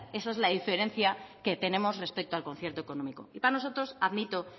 esa es la diferencia que tenemos respecto al concierto económico y para nosotros admito